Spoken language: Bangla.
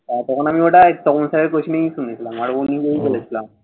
তখন আমি ওটা কমল স্যারের প্রশ্নেই শুনেছিলাম। আর উনি